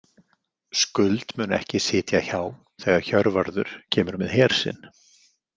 Skuld mun ekki sitja hjá þegar Hjörvarður kemur með her sinn.